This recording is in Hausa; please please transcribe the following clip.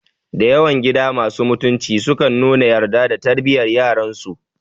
Dayawan gida masu mutunci sukan nuna yarda ga tarbiyar yaransu